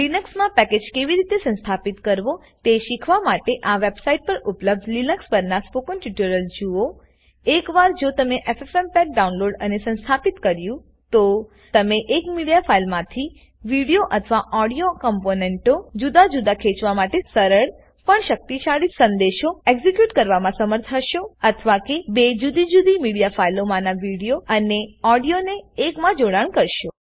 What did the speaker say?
લીનક્સમાં package કેવી રીતે સંસ્થાપિત કરવો તે શીખવા માટેઆ વેબસાઈટ પર ઉપલભ્ધ લીનક્સ પરના સ્પોકન ટ્યુટોરીયલો જુઓ એક વાર જો તમે એફએફએમપેગ ડાઉનલોડ અને સંસ્થાપિત કર્યું તો તમે એક મીડિયા ફાઈલમાંથી વિડીઓ અથવા ઓડીઓ કમ્પોનન્ટોને જુદા જુદા ખેચવા માટે સરળ પણ શક્તિશાળી સંદેશો એક્ઝીક્યુટ કરવા મા સમર્થ હશો અથવા કે બે જુદી જુદી મીડિયા ફાઈલોમાના વિડીઓ અને ઓડીઓને એકમાં જોડાણ કરશો